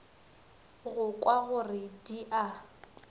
go kwa gore di a